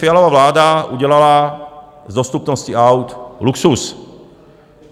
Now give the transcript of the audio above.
Fialova vláda udělala z dostupnosti aut luxus.